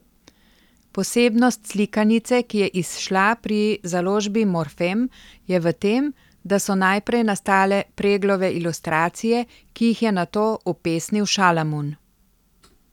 Posebnost slikanice, ki je izšla pri založbi Morfem, je v tem, da so najprej nastale Preglove ilustracije, ki jih je nato upesnil Šalamun.